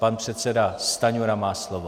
Pan předseda Stanjura má slovo.